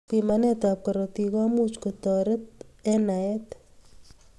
Bimanet ab karotik komuch koteret eng naet.